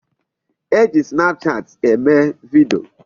E ji snapchat eme video.